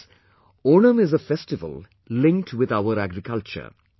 Friends, Onam is a festival linked with our agriculture